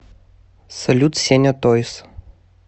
салют сеня тойз